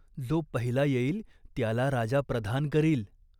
जो पहिला येईल त्याला राजा प्रधान करील.